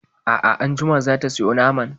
A'a anjima za ta sayo naman.